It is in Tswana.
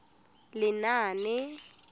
lenaane